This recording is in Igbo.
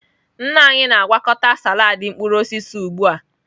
Nna anyị na-agwakọta salad mkpụrụ osisi ugbu a.